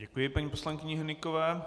Děkuji paní poslankyni Hnykové.